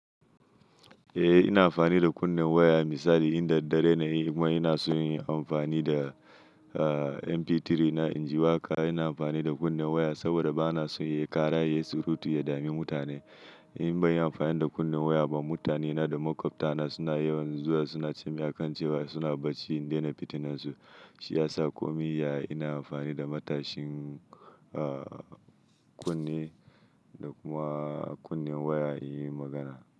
Eh ina amfani da kunnen waya misali inda dare ne yi kuma ina so in yi amfani da MP3 na inji waƙa ina amfani da kunnen waya saboda ba na so ya ƙara yayi surutu ya dame mutane. In ban yi amfani da kunnen waya ba mutane na da maƙwabta na suna yawan zuwa suna cin a kan cewa suna barci in daina fitinan su. Shi ya sa ko mai iya ina amfani da matashin kunne da kuma kunnen waya in yi magana.